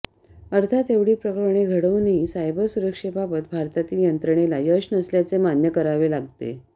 अर्थात एवढी प्रकरणे घडवूनही सायबर सुरक्षेबाबत भारतातील यंत्रणेला यश नसल्याचे मान्य करावे लागते